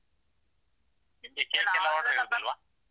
ಎಲ್ಲ